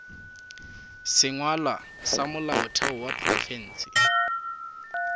sengwalwa sa molaotheo wa profense